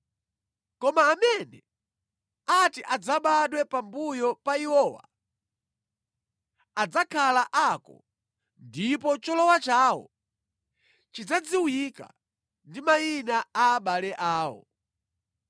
Koma amene ati adzabadwe pambuyo pa iwowa adzakhala ako ndipo cholowa chawo chidzadziwika ndi mayina a abale awo.